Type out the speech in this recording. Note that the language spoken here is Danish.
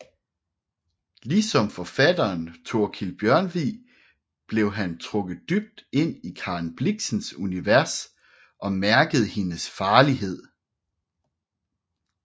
Ligesom forfatteren Thorkild Bjørnvig blev han trukket dybt ind i Karen Blixens univers og mærkede hendes farlighed